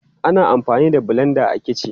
Ana amfani da blenda a kici.